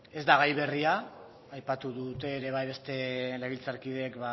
ezta ez da gai berria aipatu dute ere bai beste legebiltzarkideek